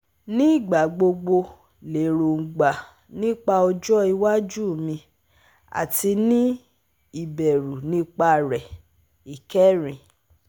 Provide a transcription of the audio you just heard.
Nigbagbogbo lerongba nipa ojo iwaju mi ati ni ibẹru nipa re Ikerin